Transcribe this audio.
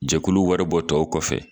Jɛkulu wari bɔ tɔw kɔfɛ